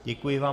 Děkuji vám.